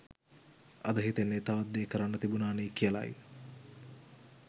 අද හිතෙන්නෙ තවත් දේ කරන්න තිබුණානෙ කියලයි